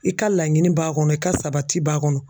I ka laɲini b'a kɔnɔ i ka sabati b'a kɔnɔ.